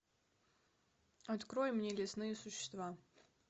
открой мне лесные существа